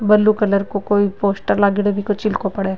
Blue colour काे कोई poster लागेङो बीको चिलको पड़े।